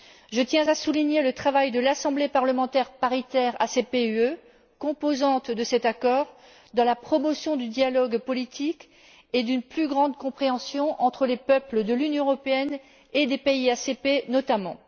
Je tiens à souligner le travail de l'Assemblée parlementaire paritaire ACP UE, composante de cet accord, dans la promotion du dialogue politique et d'une plus grande compréhension entre les peuples de l'Union européenne et des pays ACP, notamment.